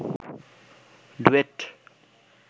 duet